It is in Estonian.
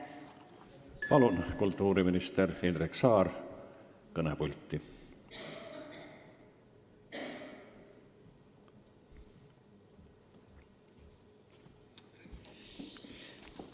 Palun, kultuuriminister Indrek Saar, kõnepulti!